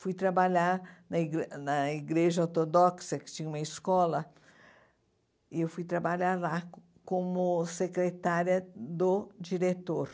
Fui trabalhar na igre na igreja ortodoxa, que tinha uma escola, e fui trabalhar lá como secretária do diretor.